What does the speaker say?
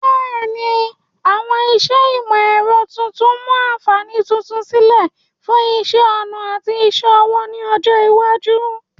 Bẹ́ẹ̀ni, àwọn iṣẹ́ ìmọ̀ ẹ̀rọ tuntun mu àǹfààní tuntun sílẹ̀ fún iṣẹ́ ọnà àti iṣẹ́ ọwọ́ ní ọjọ́ iwájú.